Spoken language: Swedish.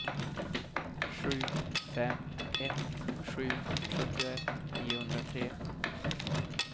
sju fem ett sju sjuttioett niohundratre